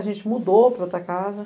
A gente mudou para outra casa.